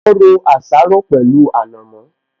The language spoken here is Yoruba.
Ó ro àsáró pẹ̀lú ànàmọ́